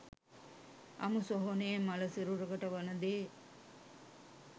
අමුසොහොනේ මළ සිරුරකට වන දේ